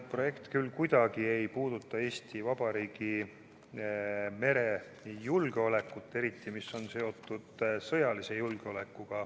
See eelnõu ei puuduta kuidagi Eesti Vabariigi merejulgeolekut, eriti sõjalist julgeolekut.